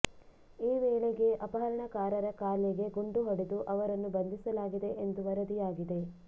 ಈ ವೇಳೆಗೆ ಅಪಹರಣಕಾರರ ಕಾಲಿಗೆ ಗುಂಡು ಹೊಡೆದು ಅವರನ್ನು ಬಂಧಿಸಲಾಗಿದೆ ಎಂದು ವರದಿಯಾಗಿದೆ